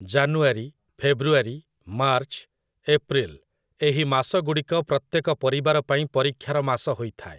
ଜାନୁୟାରୀ, February, March, April ଏହି ମାସଗୁଡ଼ିକ ପ୍ରତ୍ୟେକ ପରିବାର ପାଇଁ ପରୀକ୍ଷାର ମାସ ହୋଇଥାଏ ।